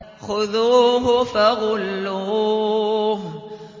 خُذُوهُ فَغُلُّوهُ